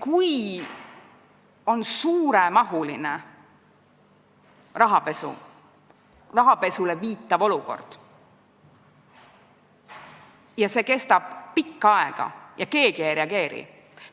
Kui on suuremahulisele rahapesule viitav olukord ja see kestab pikka aega, aga keegi ei reageeri,